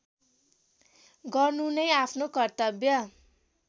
गर्नु नै आफ्नो कर्तव्य